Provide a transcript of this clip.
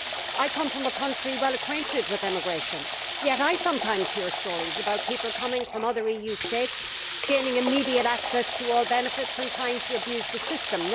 I come from a country which is well acquainted with emigration, yet I sometimes hear stories about people coming from other EU states who gain immediate access to all benefits and try to abuse the system.